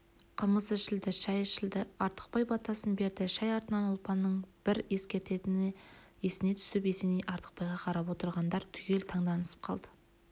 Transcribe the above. қымыз ішілді шай ішілді артықбай батасын берді шай артынан ұлпанның бір ескерткені есіне түсіп есеней артықбайға қарап отырғандар түгел таңданысып қалды